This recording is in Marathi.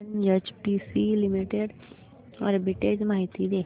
एनएचपीसी लिमिटेड आर्बिट्रेज माहिती दे